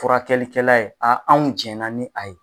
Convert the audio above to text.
Furakɛlikɛla ye a anw jɛnna ni a ye.